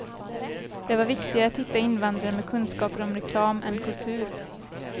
Det var viktigare att hitta invandrare med kunskaper om reklam än kultur.